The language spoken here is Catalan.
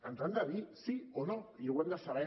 ens han de dir sí o no i ho hem de saber